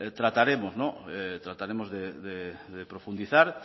trataremos de profundizar